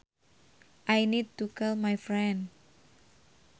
I need to call my friend